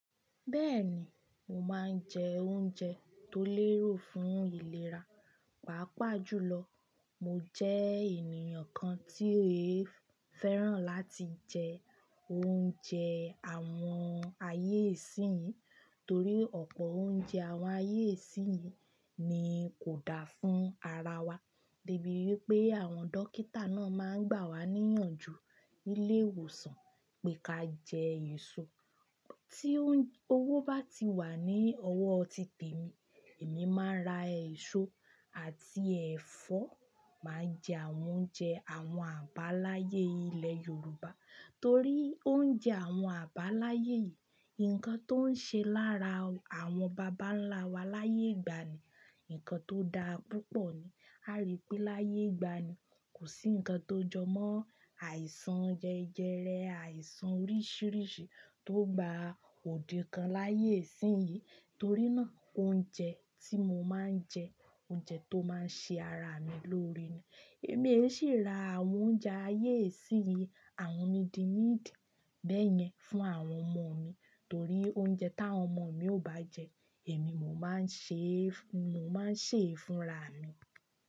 Bẹ́ẹ̀ni, mo máa ń jẹ oúnjẹ tó lérò fún ìlera. Pàápàá jùlọ, mo jẹ́ ènìyàn kan tí e fẹ́ràn láti jẹ oúnjẹ àwọn ayé ìsìnyí torí ọ̀pọ̀ oúnjẹ àwọn ayé ìsìnyí ni kò dáa fún ara wa. De bíi wipé àwọn dókítà náà máa ń gbà wá níyànjú nílé ìwòsàn pé ka jẹ èso. Tí owó bá ti wà ní ọwọ́ títèmi, èmi máa ra èso àti ẹ̀fọ́, màá jẹ àwọn oúnjẹ àwọn àbáláyé ilẹ̀ Yorùbá torí oúnjẹ àwọn àbáláyé yìí, nǹkan tó ń ṣe lára àwọn bàbá ńlá wa láyé ìgbàanì, nǹkan tó dáa púpọ̀ ni. A rí i pé láyé ìgbàanì, kò sí nǹkan tó jọmọ́ àìsàn jẹjẹrẹ, àìsàn oríṣìíríṣìí tó gba òde kan láyé ìsìnyí torí náà, oúnjẹ tí mo máa ń jẹ, oúnjẹ tó máa ń ṣe ara mi lóore ni. Èmi e sì ra àwọn oúnjẹ ayé ìsìnyí àwọn midi midi bẹ́yẹn fún àwọn ọmọ mi torí oúnjẹ táwọn ọmọ mi ò bá jẹ, èmi mo máa ń ṣe, mo máa ń sè é fúnra mi.